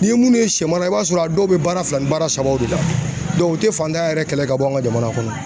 Ni ye minnu ye sɛw la i b'a sɔrɔ a dɔw bɛ baara fila ni baara sabaw de la u tɛ fantanya yɛrɛ kɛlɛ ka bɔ an ka jamana kɔnɔ.